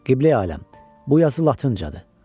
Qibləyi aləm, bu yazı latıncadır.